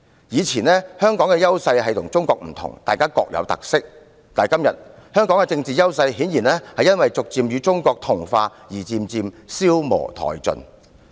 過往香港的優勢是與中國不同，大家各具特色，但今天香港的政治優勢顯然因為趨向與中國同化而漸漸消磨殆盡。